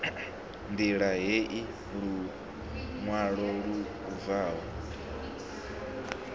ṋdila heyi luṅwalo lu bvaho